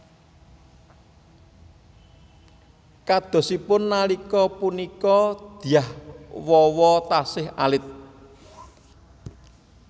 Kadosipun nalika punika Dyah Wawa taksih alit